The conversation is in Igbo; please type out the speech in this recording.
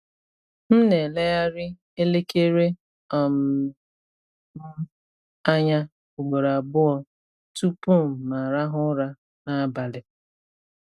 M na-elegharị elekere um m anya ugboro abụọ tupu m arahụ ụra n’abalị.